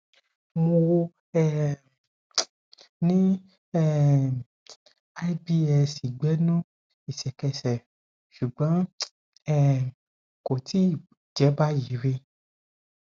mo um ní um ibs ìgbẹnu ìṣẹkẹsẹ ṣùgbọn um kò tíì jẹ báyìí rí